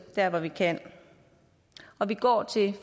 der hvor vi kan og vi går til